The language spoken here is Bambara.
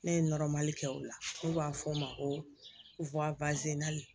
Ne ye kɛ o la n'u b'a fɔ o ma ko